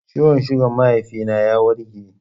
Ciwon sugan mahaifi na ya warke